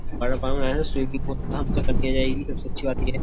swimming करनी आ जाएगी सबसे अच्छी बात ये है --